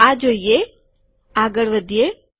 આ જોઈએ આગળ વધીએ